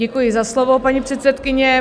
Děkuji za slovo, paní předsedkyně.